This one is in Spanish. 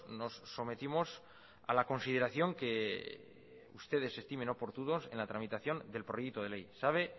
nos sometimos a la consideración que ustedes estimen oportunos en la tramitación del proyecto de ley sabe